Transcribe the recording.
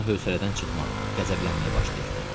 Ravino hövsələdən çıxmağa, qəzəblənməyə başlayırdı.